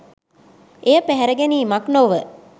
එය පැහැරගැනීමක් නොව